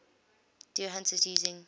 deer hunters using